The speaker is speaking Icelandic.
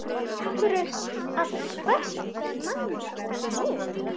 Af hverju að sverta mannorð hennar nú?